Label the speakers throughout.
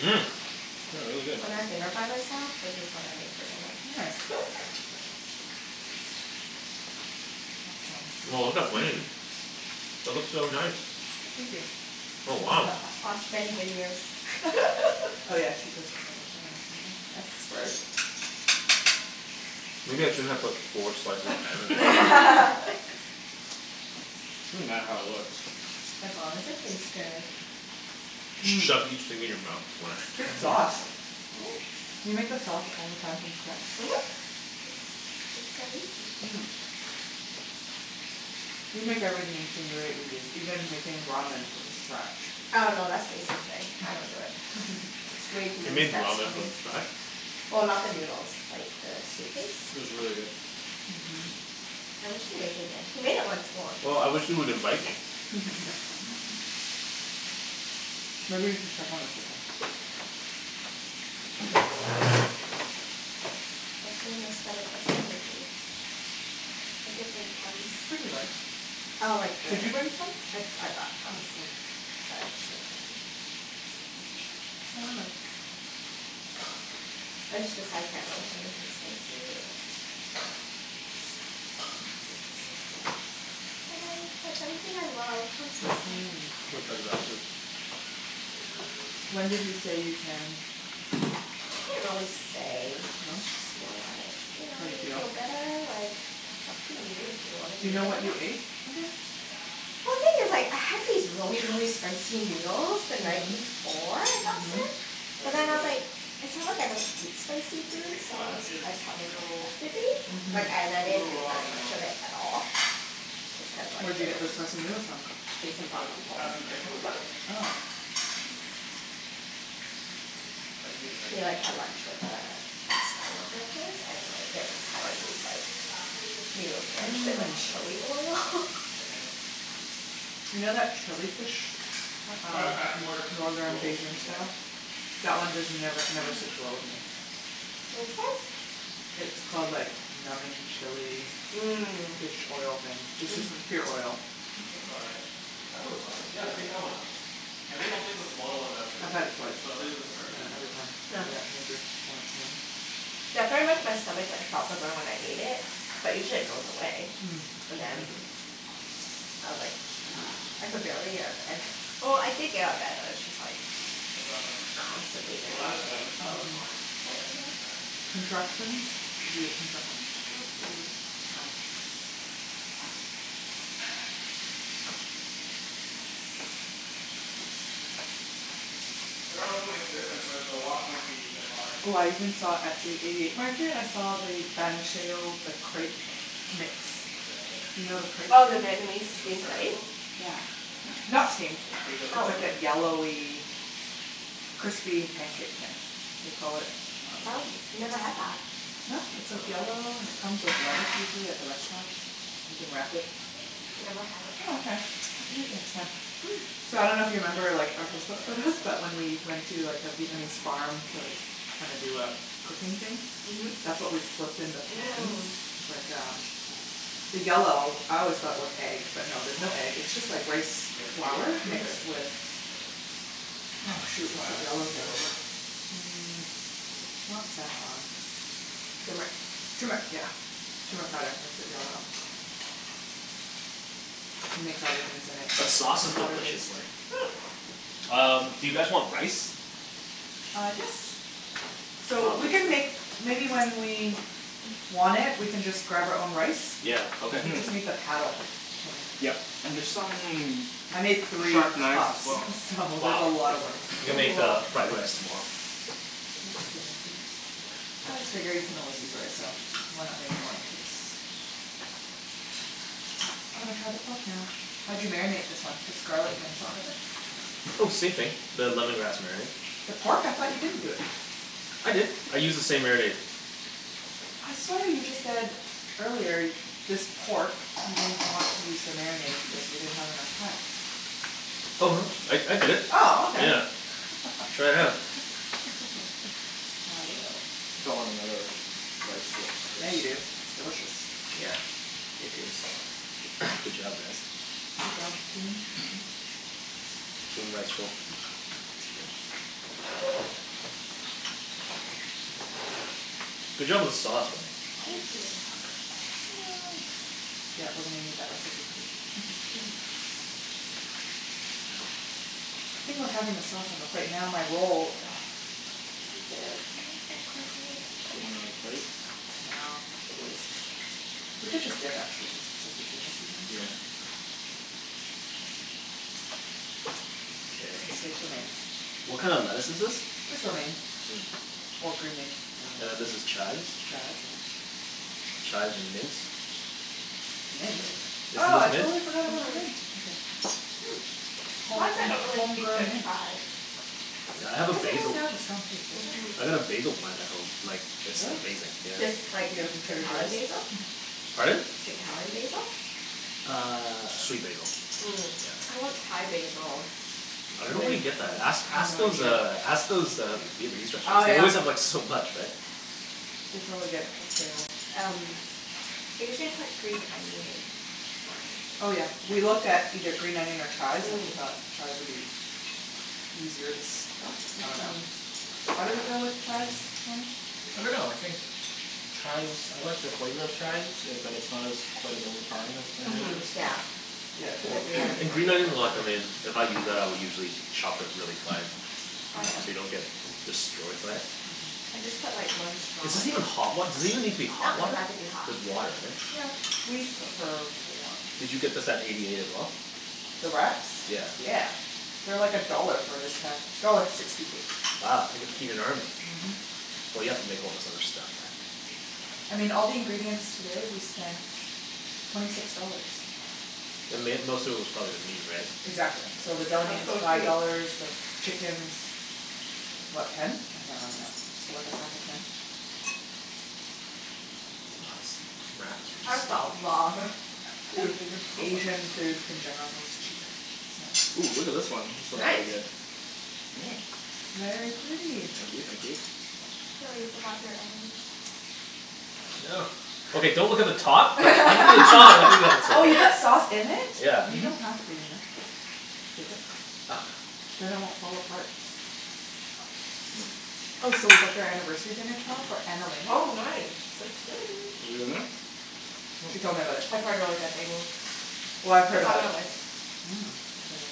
Speaker 1: Mmm. This is really good.
Speaker 2: When I have dinner by myself, this is what I make for dinner.
Speaker 3: Nice. Awesome.
Speaker 4: Wow, look at Wenny's. That looks so nice.
Speaker 3: Thank you.
Speaker 4: Oh wow.
Speaker 2: Watch many videos.
Speaker 3: Oh yeah, she does this all the time yeah, expert.
Speaker 4: Maybe I shouldn't have put four slices of ham in there.
Speaker 1: Doesn't matter how it looks.
Speaker 2: As long as it tastes good.
Speaker 4: Just shove each thing in your mouth, one at a
Speaker 3: Good
Speaker 4: time
Speaker 3: sauce. Do you make the
Speaker 2: Thanks.
Speaker 3: sauce all the time from scatch?
Speaker 2: Mhm. It's, it's so easy.
Speaker 3: Mm. You make everything seem very easy, even making ramen from scatch.
Speaker 2: Oh no, that's Jason's thing, I don't do it. It's way too
Speaker 4: He
Speaker 2: many
Speaker 4: made
Speaker 2: steps for
Speaker 4: ramen
Speaker 2: me.
Speaker 4: from scratch?
Speaker 2: Well, not the noodles, like the soup
Speaker 1: It
Speaker 2: base.
Speaker 1: was really good.
Speaker 3: Mhm.
Speaker 2: I wish he'd make it again. He made it once more.
Speaker 4: Well, I wish he would invite me.
Speaker 3: Maybe you should check on the chicken.
Speaker 2: Hopefully my stomach doesn't hate me. I did bring Tums.
Speaker 3: Pretty light.
Speaker 2: Oh like the
Speaker 3: Did you bring Tums?
Speaker 2: I, I brought
Speaker 3: Oh,
Speaker 2: Tums.
Speaker 3: good.
Speaker 2: Sorry
Speaker 3: Don't worry about it.
Speaker 2: I just, just, I can't have anything spicy or cit- citrusy. Like I, that's everything I love. I'm so
Speaker 3: Mhm
Speaker 2: sad.
Speaker 4: Which
Speaker 3: When did he say you can?
Speaker 2: He didn't really say
Speaker 3: No?
Speaker 2: It's just more like You know
Speaker 3: How you
Speaker 2: when you
Speaker 3: feel?
Speaker 2: feel better, like it's up to you if you wanna
Speaker 3: Do you
Speaker 2: eat
Speaker 3: know
Speaker 2: them or
Speaker 3: what you
Speaker 2: not.
Speaker 3: ate again?
Speaker 2: I think it's like, I had these really really spicy noodles the night before I got
Speaker 3: Mhm.
Speaker 2: sick.
Speaker 4: How's
Speaker 2: But
Speaker 4: your?
Speaker 2: then I was like, it's not like I don't eat spicy
Speaker 1: The
Speaker 2: foods
Speaker 1: thick
Speaker 2: so I
Speaker 1: one
Speaker 2: was
Speaker 1: is
Speaker 2: surprised how much it
Speaker 1: still
Speaker 2: affected me. Like
Speaker 3: Mhm.
Speaker 2: ne-
Speaker 1: a
Speaker 2: I didn't
Speaker 1: little
Speaker 2: eat
Speaker 1: raw in the
Speaker 2: very much
Speaker 1: middle.
Speaker 2: of it at all. Just cuz like
Speaker 3: Where'd you
Speaker 2: they
Speaker 3: get
Speaker 2: were
Speaker 3: the spicy
Speaker 2: expensive.
Speaker 3: noodles from?
Speaker 2: Jason
Speaker 4: Ken,
Speaker 2: brought them home.
Speaker 4: that's the knife drawer?
Speaker 3: Oh.
Speaker 4: I could use a knife.
Speaker 2: He like had lunch with uh, ex-coworker of his, and like it was like Taiwanese like noodles
Speaker 1: Yeah, it's quite
Speaker 2: drenched in
Speaker 1: raw
Speaker 2: like
Speaker 1: in the middle
Speaker 2: chilli
Speaker 1: still.
Speaker 2: oil.
Speaker 4: Damn it.
Speaker 3: You know that chilli fish
Speaker 4: Well,
Speaker 3: Ta- um,
Speaker 4: it's back to more
Speaker 3: Northern
Speaker 4: rolls.
Speaker 3: Beijing
Speaker 1: Yeah.
Speaker 3: style? That one just never never sits well with me.
Speaker 2: Which one?
Speaker 3: It's called like numbing chilli
Speaker 2: Mm.
Speaker 3: Fish oil thing. It's just pure oil.
Speaker 1: Looks all right
Speaker 4: That looks fine. Yeah, take that one out. I think I'll take the smaller ones out too.
Speaker 3: I had it twice,
Speaker 4: we can start
Speaker 3: and
Speaker 4: eating now.
Speaker 3: every time I got major stomach pain.
Speaker 2: Yeah, pretty much my stomach like felt the burn when I ate it, but usually it goes away.
Speaker 3: Mm.
Speaker 2: And then,
Speaker 3: Mhm.
Speaker 2: I was like, I could barely get up, well I did get up out of bed but it's just like
Speaker 1: How's that
Speaker 2: constantly
Speaker 1: look?
Speaker 4: Oh
Speaker 2: there
Speaker 4: that
Speaker 2: all
Speaker 4: looks good,
Speaker 2: day.
Speaker 4: that looks
Speaker 3: Mhm,
Speaker 4: fine.
Speaker 1: Yeah?
Speaker 4: Yeah.
Speaker 3: contractions? Did you get contractions?
Speaker 2: Mm- mm.
Speaker 1: I dunno if it'll make a difference but the wok might be a bit hotter.
Speaker 3: Oh I even saw at the eighty eight market, I saw the Ben Schill the crepe mix, you know the crepe
Speaker 2: Oh, the
Speaker 3: thing?
Speaker 4: Here
Speaker 2: Vietnamese
Speaker 4: let's
Speaker 2: steamed
Speaker 4: try this
Speaker 2: crepe?
Speaker 4: one.
Speaker 3: Yeah. Not steamed.
Speaker 4: Here, bring the
Speaker 3: It's
Speaker 4: plate
Speaker 2: Oh.
Speaker 3: like
Speaker 4: over.
Speaker 3: that yellowy crispy pancake thing, they call it um.
Speaker 2: Oh, never had that.
Speaker 3: No? It's like yellow, and it comes with lettuce usually at the restaurants. You can wrap it.
Speaker 2: I've never had it.
Speaker 3: Oh okay. I'll take you next time. So I dunno if you remember like our
Speaker 1: That looks all
Speaker 3: Facebook photos
Speaker 4: That looks
Speaker 1: right.
Speaker 3: but
Speaker 4: good.
Speaker 3: when we went to like a Vietnamese farm to like kinda do a f- cooking thing?
Speaker 2: Mhm.
Speaker 3: That's what we flipped in the pans.
Speaker 2: Mm.
Speaker 3: Like uh the yellow,
Speaker 1: This
Speaker 3: I
Speaker 1: one's
Speaker 3: always
Speaker 1: a
Speaker 3: thought it
Speaker 1: little
Speaker 3: was egg, but no there's
Speaker 1: raw.
Speaker 3: no egg, it's just like rice
Speaker 4: Yeah, the bigger piece
Speaker 3: flour
Speaker 4: right?
Speaker 3: mixed with,
Speaker 1: Yeah.
Speaker 3: oh shoot, what's that yellow thing. Mm, not saffron.
Speaker 2: Turmeric.
Speaker 3: Turmeric! Yeah. Turmeric powder makes it yellow. You mix other things in it,
Speaker 4: The sauce is
Speaker 3: water
Speaker 4: delicious,
Speaker 3: based.
Speaker 4: Wenny. Um, do you guys want rice?
Speaker 3: Uh, yes! So we can make maybe when we want it we can just grab our own rice.
Speaker 4: Yeah, okay.
Speaker 3: We just made the paddle, Kenny.
Speaker 1: Yeah. And there's some
Speaker 3: I made three
Speaker 1: sharp knives
Speaker 3: cups
Speaker 1: as well
Speaker 3: so there's a lot of rice.
Speaker 4: You can
Speaker 2: Oh
Speaker 4: make
Speaker 2: wow.
Speaker 4: uh, fried rice tomorrow.
Speaker 3: Yeah, we can make it. I just figured you can always use rice so, why not make more in case. I'm gonna try the pork now. How'd you marinate this one? Just garlic and salt n pepper?
Speaker 4: Oh same thing, the lemongrass marinade.
Speaker 3: The pork? I thought you didn't do it.
Speaker 4: I did, I used the same marinade.
Speaker 3: I swear you just said earlier, this pork you didn't want to use the marinade because we didn't have enough time.
Speaker 4: Oh no, I I did it.
Speaker 3: Oh okay.
Speaker 4: Yeah, try it out.
Speaker 3: I will.
Speaker 1: I think want another rice roll
Speaker 3: Yeah, you do. It's delicious.
Speaker 4: Yeah, it is. Good job guys.
Speaker 3: Good job, team. Mhm.
Speaker 4: Team rice roll. Good job on the sauce,
Speaker 3: Oh
Speaker 4: Wenny.
Speaker 2: Thank you.
Speaker 3: it's stuck, no! Yeah, we're gonna need that recipe, too. The thing with having the sauce on the plate, now my roll ugh, it won't fit! Now it's all crinkled.
Speaker 1: Do you want another plate?
Speaker 3: No, it's a waste. We could just dip actually cuz it's just the two of us eating this thing.
Speaker 1: Yeah.
Speaker 4: Okay. What kind of lettuce is this?
Speaker 3: Just romaine, or green leaf.
Speaker 4: And then this is chives?
Speaker 3: Chives, yeah.
Speaker 4: Chives with mint.
Speaker 3: Mint?
Speaker 4: Isn't
Speaker 3: Oh, I
Speaker 4: this mint?
Speaker 3: totally forgot about the mint, okay.
Speaker 2: Why is it
Speaker 3: Home,
Speaker 2: that I don't really taste
Speaker 3: home-grown
Speaker 2: the
Speaker 3: mint.
Speaker 2: chives?
Speaker 4: Yeah, I have a
Speaker 3: It doesn't
Speaker 4: basil
Speaker 3: really have a strong taste, does it?
Speaker 2: Mhm.
Speaker 4: I got a basil plant at home, like it's
Speaker 3: Really?
Speaker 4: amazing yeah.
Speaker 2: Just, like,
Speaker 3: Did you get it from Trader Joes?
Speaker 2: Italian basil?
Speaker 4: Pardon?
Speaker 2: Italian basil?
Speaker 4: Uh, sweet basil.
Speaker 2: Mm. I want Thai basil.
Speaker 4: I don't know where you get that. Ask, ask those uh, ask those uh, Vietnamese
Speaker 2: Oh
Speaker 4: restaurants. They
Speaker 2: yeah.
Speaker 4: always have like so much, right.
Speaker 3: They probably get wholesale.
Speaker 2: Um, I usually put green onion in mine.
Speaker 3: Oh yeah, we looked at either green onion or chives and we thought chives would be easier to stuff, I dunno.
Speaker 2: Mhm.
Speaker 3: Why did we go with chives, Kenny?
Speaker 1: I dunno, I think chives, I like the flavor of chives it, but it's not as quite as overpowering as green
Speaker 2: Mhm,
Speaker 1: onions.
Speaker 2: yeah. Cuz the green
Speaker 4: And green
Speaker 2: onion's
Speaker 4: onion I like em in, if I use that I'll usually chop it really fine,
Speaker 2: Oh
Speaker 4: so
Speaker 2: yeah?
Speaker 4: you don't get destroyed by it.
Speaker 2: I just put like one straw
Speaker 4: Is this
Speaker 2: in.
Speaker 4: even hot wat- does it even need to be
Speaker 2: No,
Speaker 4: hot
Speaker 2: it doesn't
Speaker 4: water?
Speaker 2: have to be hot.
Speaker 4: Just water right?
Speaker 3: Yeah, we prefer warm.
Speaker 4: Did you get this at Eighty eight as well?
Speaker 3: The wraps?
Speaker 4: Yeah.
Speaker 3: Yeah. They're like a dollar for this pack, dollar sixty eight.
Speaker 4: Wow. You can feed an army.
Speaker 3: Mhm.
Speaker 4: Well you have to make all this other stuff.
Speaker 3: I mean, all the ingredients today we spent twenty six dollars.
Speaker 4: The mai- most of it was probably the meat, right?
Speaker 3: Exactly. So the deli
Speaker 2: That's
Speaker 3: meat was
Speaker 2: so
Speaker 3: five
Speaker 2: cheap.
Speaker 3: dollars, the chickens, what, ten? I can't remember now, for like a pack of ten?
Speaker 2: That's a lot of
Speaker 3: I think
Speaker 2: food.
Speaker 3: Asian food in general is always cheaper, isn't
Speaker 1: Oh, look at this
Speaker 3: it.
Speaker 1: one, this looks pretty
Speaker 2: Nice!
Speaker 1: good. Mm.
Speaker 3: Very pretty.
Speaker 1: Thank you thank you.
Speaker 2: Oh, you forgot your ends.
Speaker 1: No.
Speaker 4: Okay, don't look at the top
Speaker 3: Oh, you put sauce in it?
Speaker 4: Yeah.
Speaker 3: You don't have to you know. Dip it. Then it won't fall apart. Oh so we booked our anniversary dinner tomorrow for Annalena.
Speaker 2: Oh nice!
Speaker 3: So
Speaker 1: You've
Speaker 3: excited!
Speaker 1: been there?
Speaker 3: She told me about it.
Speaker 2: I've heard really good things.
Speaker 3: Well, I've heard
Speaker 2: It's on
Speaker 3: about it
Speaker 2: our list.
Speaker 3: before, too. Mm, it's really good.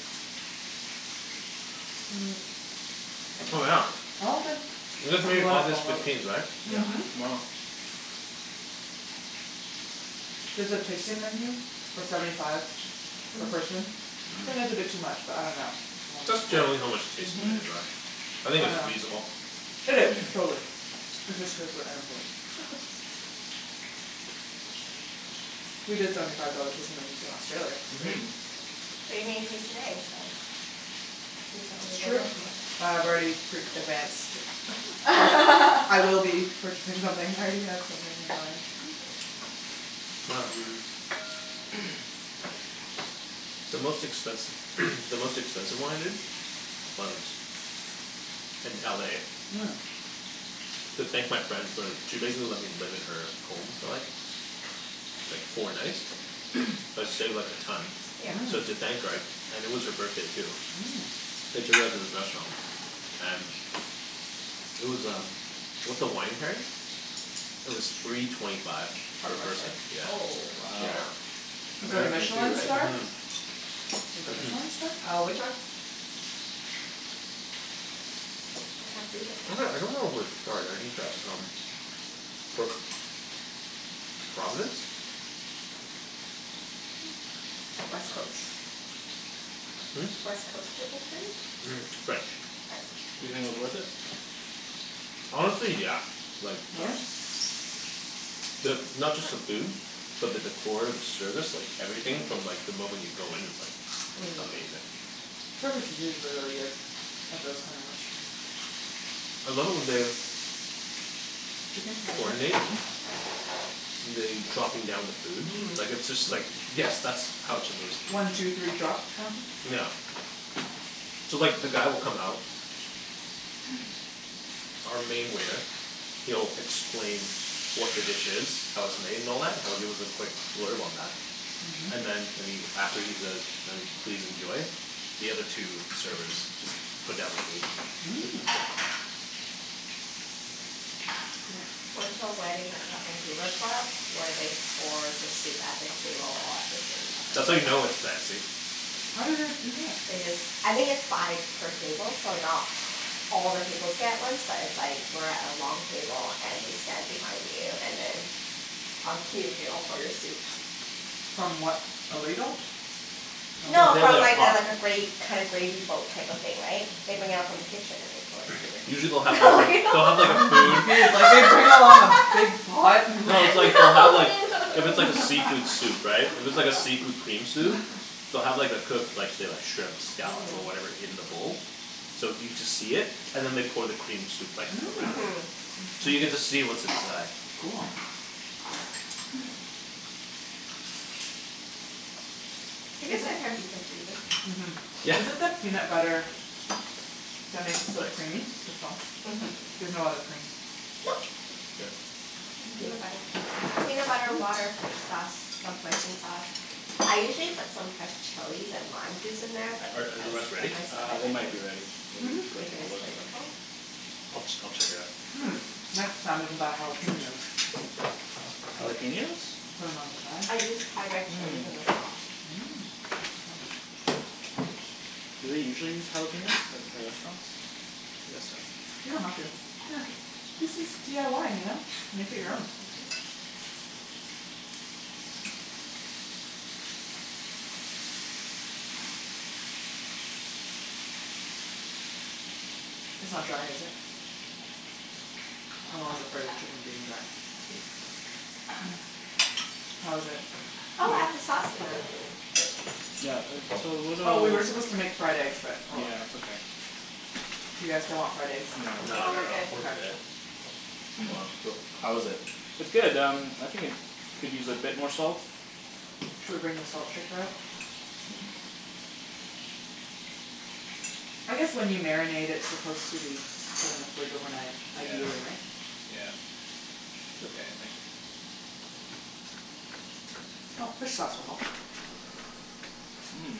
Speaker 4: Oh yeah,
Speaker 3: I don't think.
Speaker 4: you guys married August fifteenth, right?
Speaker 1: Yep.
Speaker 3: Mhm.
Speaker 1: Tomorrow.
Speaker 3: There's a tasting menu for seventy five per person, I think it's a bit too much but I dunno.
Speaker 4: That's generally how much tasting
Speaker 3: Mhm.
Speaker 4: menus are. I think it's
Speaker 3: I dunno.
Speaker 4: reasonable.
Speaker 3: It is, totally. It's just cuz we're unemployed. We did seventy five dollar tasting menus in Australia, it was great.
Speaker 1: Mhm.
Speaker 2: But you're getting paid today so, you can get yourself
Speaker 3: That's
Speaker 2: good
Speaker 3: true.
Speaker 2: dinner
Speaker 3: Uh,
Speaker 2: tomorrow.
Speaker 3: I've already pre-advanced. I will be purchasing something I already have something in mind.
Speaker 4: The most expensi- the most expensive one I did was in LA.
Speaker 3: Mm.
Speaker 4: To thank my friend for, she basically let me live in her home for like, like four nights, that saved like a ton.
Speaker 2: Yeah.
Speaker 4: So
Speaker 3: Mhm.
Speaker 4: thank her I, and it was her birthday too.
Speaker 3: Mm.
Speaker 4: I took her out to this restaurant and, it was um with the wine pairing, it was three twenty five
Speaker 2: Per
Speaker 4: per person.
Speaker 2: person. Oh
Speaker 1: Wow.
Speaker 4: Yeah.
Speaker 2: shit.
Speaker 3: Was it a Michelin star?
Speaker 4: Mhm.
Speaker 3: Was it Michelin star?
Speaker 2: Uh, which one? What kind of food would
Speaker 4: Actually, I dunno if it was
Speaker 2: they have?
Speaker 4: starred, I didn't check um, but Providence?
Speaker 2: Like West Coast?
Speaker 4: Hm?
Speaker 2: West Coast type of food?
Speaker 4: French.
Speaker 1: You
Speaker 2: French.
Speaker 1: think it was worth it?
Speaker 4: Honestly, yeah. Like
Speaker 3: Really?
Speaker 4: The, not just the food, but the decor, the service, like everything from like the moment you go in it's like
Speaker 2: Mm.
Speaker 4: Amazing.
Speaker 3: Service is usually really good. At those kinda restaurants.
Speaker 4: I love it when they
Speaker 3: Chicken? You want some?
Speaker 4: Coordinate, and they, dropping down the food.
Speaker 2: Mhm.
Speaker 4: Like it's just like yes, that's how it shupposed to be.
Speaker 3: One two three drop kinda thing?
Speaker 4: Yeah. So like the guy will come out, our main waiter, he'll explain what the dish is, how it's made and all that, he'll give us a quick blurb on that.
Speaker 3: Mhm.
Speaker 4: And then and he, after he says please enjoy, the other two servers just put down the food.
Speaker 3: Mm. Cool
Speaker 2: Went to a wedding at the Vancouver Club, where they pour the soup at the table all at the same time.
Speaker 4: That's how you know it's fancy.
Speaker 3: How do they do that?
Speaker 2: They just, I think it's by per table, so not all the tables get it at once but it's like we're at a long table and they stand behind you and then on cue they all pour your soup.
Speaker 3: From what, a ladle?
Speaker 4: No,
Speaker 2: No,
Speaker 4: they have
Speaker 2: from
Speaker 4: like a
Speaker 2: like the
Speaker 4: pot.
Speaker 2: like a gra- kind of gravy boat type of thing, right, they bring out from the kitchen and they pour into
Speaker 4: Usually
Speaker 2: your
Speaker 4: they'll have like a, they'll have like a
Speaker 3: I'm
Speaker 4: food
Speaker 3: confused like they bring out a lot of big pot, and
Speaker 4: No, it's
Speaker 3: like
Speaker 4: like, they'll have like, if
Speaker 2: No
Speaker 4: it's like a
Speaker 2: no
Speaker 4: seafood
Speaker 2: no
Speaker 4: soup, right, if it's like a seafood cream soup, they'll have like the cooked, say like, the shrimps, scallops or whatever in the bowl, so you just see it and then they pour the cream soup like around
Speaker 2: Mhm.
Speaker 4: it.
Speaker 3: Mmm!
Speaker 4: So you get to see what's inside.
Speaker 3: Cool.
Speaker 2: I guess
Speaker 3: Is it-
Speaker 2: that can be confusing.
Speaker 3: Mhm.
Speaker 4: Yeah.
Speaker 3: Is it the peanut butter that makes it so creamy? The sauce.
Speaker 2: Mhm.
Speaker 3: There's no other cream?
Speaker 2: Nope.
Speaker 4: Here.
Speaker 2: Just
Speaker 3: Thank you.
Speaker 2: peanut butter. Peanut butter, water, fish sauce, some hoisin sauce. I usually put some fresh chilies and lime juice in there but
Speaker 4: Are are the
Speaker 2: because
Speaker 4: rest ready?
Speaker 2: of my
Speaker 1: Uh,
Speaker 2: stomach
Speaker 1: they
Speaker 2: I
Speaker 1: might be ready. Maybe
Speaker 2: didn't.
Speaker 3: Mhm.
Speaker 1: go
Speaker 2: Make it
Speaker 1: take a
Speaker 2: as
Speaker 1: look.
Speaker 2: flavorful.
Speaker 4: I'll ch- I'll just check it out.
Speaker 3: Mm. Next time we can buy jalapeños.
Speaker 1: Jalapeños?
Speaker 3: From outside.
Speaker 2: I used Thai red chilies
Speaker 1: Mm.
Speaker 2: in the sauce.
Speaker 3: Mm.
Speaker 1: Do they usually use jalapeños at, at restaurants? I guess so.
Speaker 3: You don't have to. Yeah, this is DIY, you know? Make it your own.
Speaker 2: Mhm.
Speaker 3: It's not dry, is it? I'm always afraid of chicken being dry. How is it?
Speaker 2: Oh, add the sauce in them.
Speaker 1: Yeah, it's a little
Speaker 3: Oh, we were supposed to make fried eggs but oh well.
Speaker 1: Yeah, it's okay.
Speaker 3: Do you guys still want fried eggs?
Speaker 4: No, not at all, we're good. Well, how is it?
Speaker 1: It's good um, I think it could use a bit more salt.
Speaker 3: Should we bring the salt shaker out? I guess when you marinate it's supposed to be put in the fridge overnight ideally, right?
Speaker 1: Yeah. It's okay, I think.
Speaker 3: Oh, fish sauce will help.
Speaker 1: Mm.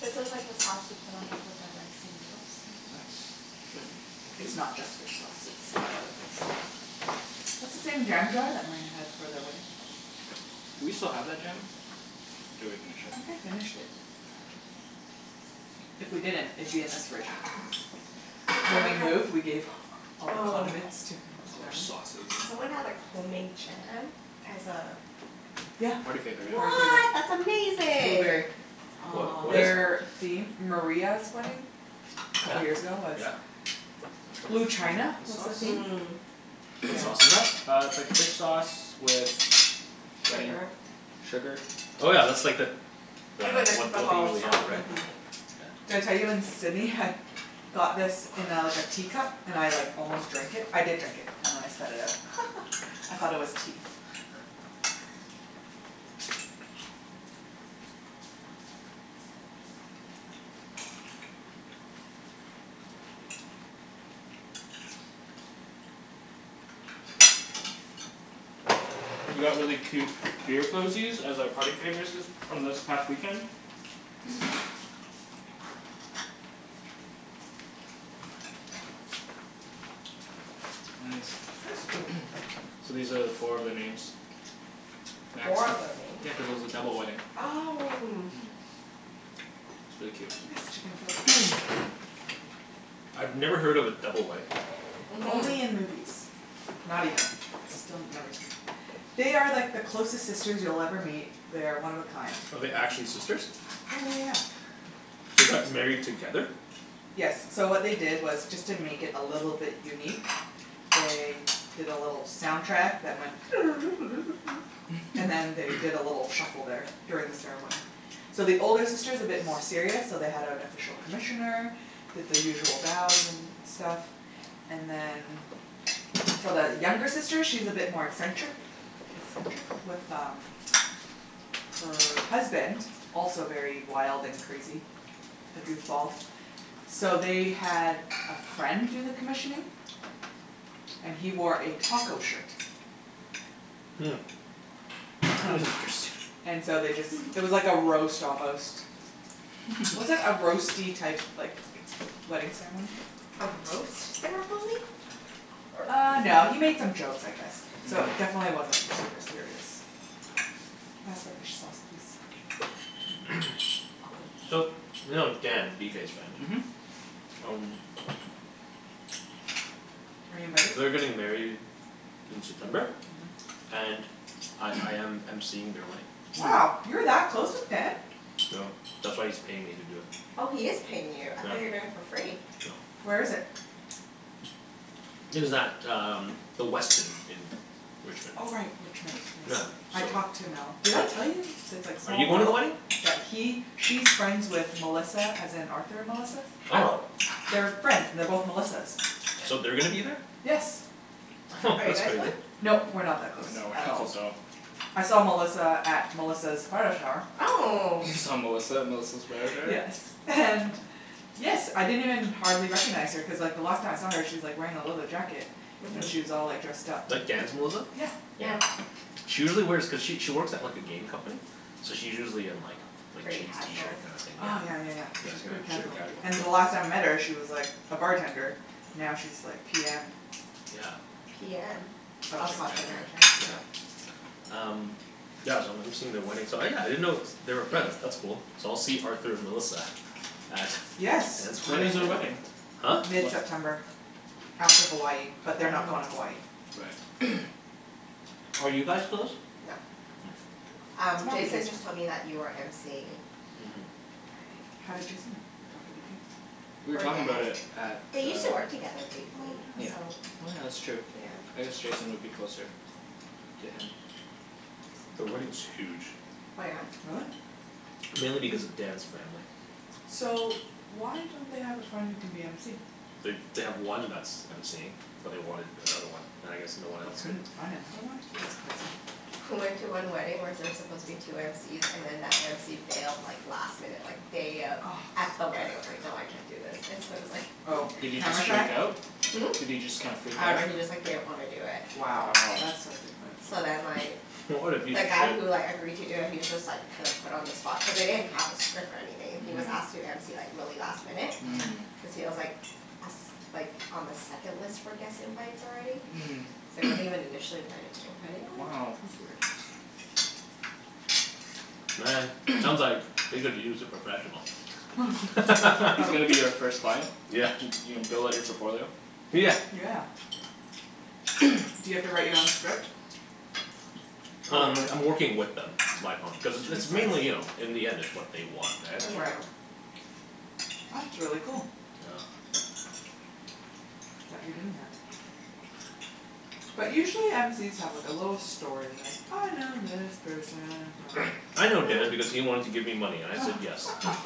Speaker 2: This is like the sauce you put on top of the rice and noodles.
Speaker 1: Nice. Thank you.
Speaker 3: It's not just fish sauce it's got other things, too. That's the same jam jar that Maria had for their wedding.
Speaker 1: Do we still have that jam? Or did we finish
Speaker 3: I
Speaker 1: it.
Speaker 3: think I finished it. If we didn't, it'd be in this fridge. So when we moved, we gave all the condiments to his family.
Speaker 2: Someone had like homemade jam as a
Speaker 3: Yeah.
Speaker 1: Party favor, yeah.
Speaker 3: Party favor.
Speaker 2: What! That's amazing!
Speaker 3: Blueberry.
Speaker 4: What, what
Speaker 2: Aw.
Speaker 4: is?
Speaker 3: Their theme, Maria's wedding, couple years ago was
Speaker 1: Yep.
Speaker 3: Blue china,
Speaker 1: This
Speaker 3: was the
Speaker 1: sauce?
Speaker 3: theme
Speaker 4: What
Speaker 3: Yeah.
Speaker 4: sauce is that?
Speaker 1: Uh, it's like fish sauce with. Wenny?
Speaker 2: Sugar
Speaker 1: Sugar
Speaker 4: Oh yeah, that's like that the
Speaker 2: It's really the
Speaker 4: what what they
Speaker 2: typical
Speaker 4: usually have,
Speaker 2: sauce, mhm.
Speaker 4: right?
Speaker 3: Did I tell you in Sydney I had got this in a like a teacup, and I like almost drank it, I did drink it and then I spat it out. I thought it was tea.
Speaker 1: We got really cute beer cozies as a party favors this, from this past weekend Nice
Speaker 2: That's cute.
Speaker 1: So these are four of their names.
Speaker 2: Four of their names?
Speaker 1: Yeah, cuz it was a double wedding.
Speaker 2: Oh.
Speaker 1: Mm, it's really
Speaker 3: Can
Speaker 1: cute.
Speaker 3: you pass the chicken, Phil, please?
Speaker 4: I've never heard of a double wedding.
Speaker 3: Only in
Speaker 2: Mhm.
Speaker 3: movies. Not even, still never seen. They are like the closest sisters you'll ever meet. They're one of a kind.
Speaker 4: Oh they're actually sisters?
Speaker 3: Yeah yeah yeah.
Speaker 4: They got married together?
Speaker 3: Yes, so what they did was just to make it a little bit unique, they did a little soundtrack that went and then they did a little shuffle there during the ceremony. So the older sister is a bit more serious so they had an official commissioner, did the usual bows and stuff, and then for the younger sister she's a bit more eccentric, eccentric, with um, her husband, also very wild and crazy A goofball. So they had a friend do the commissioning, and he wore a taco shirt.
Speaker 4: Hmm. That
Speaker 3: Um
Speaker 4: is interesting.
Speaker 3: and so they just, it was like a roast almost. Was it a roasty type, like, wedding ceremony?
Speaker 2: A roast ceremony?
Speaker 3: Uh no, he made some jokes I guess, so definitely wasn't super serious. Can you pass the fish sauce please? I'll put it in
Speaker 4: So,
Speaker 3: the
Speaker 4: you
Speaker 3: middle.
Speaker 4: know Dan, BK's friend?
Speaker 1: Mhm.
Speaker 4: Um
Speaker 3: Are you invited?
Speaker 4: They're getting married in September, and I I am MCing their wedding.
Speaker 3: Wow, you're that close with Dan?
Speaker 4: No, that's why he's paying me to do it.
Speaker 2: Oh he is paying you, I thought you're doing it for free.
Speaker 3: Where is
Speaker 4: Nope.
Speaker 3: it?
Speaker 4: It is at um, the Westin in Richmond.
Speaker 3: Oh right, Richmond,
Speaker 4: Yeah
Speaker 3: yes. I
Speaker 4: so.
Speaker 3: talked to Mel, did I tell you? That it's like
Speaker 4: Are
Speaker 3: small
Speaker 4: you going to the
Speaker 3: world.
Speaker 4: wedding?
Speaker 3: Yeah he, she's friends with Melissa as in Arthur and Melissa.
Speaker 4: Oh!
Speaker 2: Oh!
Speaker 3: They're friends, they're both Melissas.
Speaker 4: So they're gonna be there?
Speaker 3: Yes.
Speaker 2: Are you
Speaker 4: That's
Speaker 2: guys going?
Speaker 4: crazy.
Speaker 3: Nope, we're not that close,
Speaker 1: No, we're
Speaker 3: at
Speaker 1: not
Speaker 3: all.
Speaker 1: close at all.
Speaker 3: I saw Melissa at Melissa's bridal shower.
Speaker 2: Oh!
Speaker 1: You saw Melissa at Melissa's bridal shower?
Speaker 3: Yes, and yes I didn't even hardly recognize her cuz like the last time I saw her she's like wearing a leather jacket. And she was
Speaker 2: Mhm.
Speaker 3: all like dressed up.
Speaker 4: Like Dan's Melissa?
Speaker 3: Yeah.
Speaker 2: Yeah.
Speaker 4: She usually wears, cuz she she works at like a game company, so she's usually in like, like
Speaker 2: Pretty
Speaker 4: jeans, t-shirt
Speaker 2: casual?
Speaker 4: kinda thing, yeah.
Speaker 3: Oh yeah yeah yeah,
Speaker 4: Yeah,
Speaker 3: she's pretty
Speaker 4: super
Speaker 3: casual.
Speaker 4: casual.
Speaker 3: And the last time I met her she was like a bartender, now she's like PM.
Speaker 4: Yeah.
Speaker 2: PM?
Speaker 3: Of
Speaker 2: Oh
Speaker 4: Project
Speaker 2: project
Speaker 3: something.
Speaker 4: manager,
Speaker 2: manager.
Speaker 4: yeah. Um yeah, so I'm MCing at their wedding so yeah, I didn't know they were friends, that's cool. So I'll see Arthur Melissa at
Speaker 3: Yes!
Speaker 4: Dan's
Speaker 1: When
Speaker 3: You
Speaker 1: is their
Speaker 3: will.
Speaker 4: wedding
Speaker 1: wedding?
Speaker 4: Huh?
Speaker 1: Whe-
Speaker 3: mid-september. After Hawaii, but they're not going to Hawaii.
Speaker 1: Right
Speaker 4: Are you guys close?
Speaker 2: Nope.
Speaker 4: Hm.
Speaker 2: Um, Jason just told me that you are MCing.
Speaker 4: Mhm.
Speaker 3: How did Jason know, talked to BK?
Speaker 1: We were
Speaker 2: From
Speaker 1: talking about
Speaker 2: Dan,
Speaker 1: it at the
Speaker 2: they used to work together briefly,
Speaker 3: Oh yeah.
Speaker 2: so
Speaker 1: Oh yeah, that's true. I guess Jason would be closer to him.
Speaker 4: The wedding is huge.
Speaker 2: Oh yeah?
Speaker 3: Really?
Speaker 4: Mainly because of Dan's family.
Speaker 3: So, why don't they have a friend who can be MC?
Speaker 4: They they have one that's that's MCing, but they wanted another one. And I guess no one
Speaker 3: They
Speaker 4: else could
Speaker 3: couldn't find another one? That's surprising.
Speaker 2: I went to one wedding where there's supposed to be two MCs, and then that MC bailed like last minute like day of, at the wedding was like, no I can't do this, and so it was like
Speaker 3: Oh,
Speaker 1: Did he
Speaker 3: camera
Speaker 1: just
Speaker 3: shy?
Speaker 1: freak out?
Speaker 2: Hm?
Speaker 1: Did he just kind of freak
Speaker 2: I
Speaker 1: out?
Speaker 2: dunno he just like didn't want to do it.
Speaker 3: Wow.
Speaker 1: Wow.
Speaker 3: That's a dick move.
Speaker 2: So then like.
Speaker 4: What a
Speaker 2: The guy who like agreed to do it he was just like kind of put on the spot, cuz they didn't have a script or anything. He was asked to MC like really last minute, cuz he was like a s- like on the second list for guest invites already. So he wasn't even initially invited to the wedding.
Speaker 3: What?
Speaker 1: Wow.
Speaker 3: That's weird.
Speaker 4: Man, sounds like they could use a professional.
Speaker 1: He's gonna be you first client?
Speaker 4: Yeah.
Speaker 1: You're gonna build up on your portfolio?
Speaker 4: Yeah.
Speaker 3: Yeah. Do you have to write your own script?
Speaker 4: Um,
Speaker 3: Probably.
Speaker 4: I'm working with them. Like on, cuz it's
Speaker 3: Makes
Speaker 4: mainly you know,
Speaker 3: sense.
Speaker 4: in the end it's what they want
Speaker 2: Yeah.
Speaker 4: right?
Speaker 3: Right. That's really cool.
Speaker 4: Yeah.
Speaker 3: That you're doing that. But usually MC's have like a little story like I know this person from
Speaker 4: I know Dan because he wanted to give me money and I said yes.